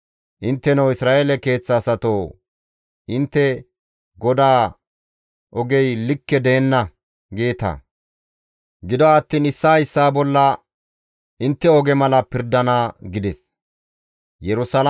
Intteno Isra7eele keeththa asatoo intte, ‹GODAA ogey likke deenna› geeta; gido attiin issaa issaa bolla intte oge mala ta pirdana» gides.